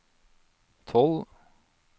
tolv